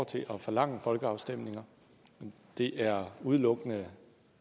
til at forlange folkeafstemninger det er udelukkende